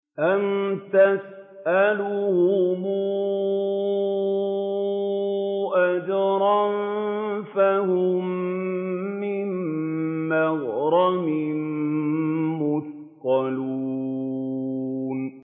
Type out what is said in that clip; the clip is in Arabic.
أَمْ تَسْأَلُهُمْ أَجْرًا فَهُم مِّن مَّغْرَمٍ مُّثْقَلُونَ